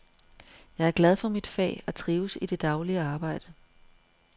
Jeg er glad for mit fag og trives i det daglige arbejde.